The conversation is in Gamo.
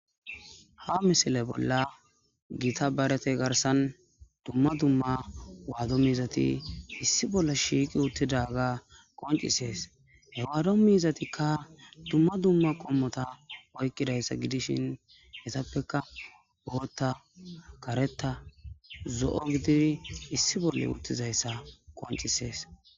ha misile bolla gita barete garsan dumma dumma waado miizati issi bolle shiiqi uttidaga qoncisees hewaado miizatikka dumma dumma qommota oykkidayssa gidishin hessappeka bohotta kareta zo7o gididi issi bolle uttizayssa qoncisees